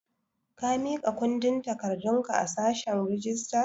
Ka miƙa kundin takardun ka a sashen rijistar?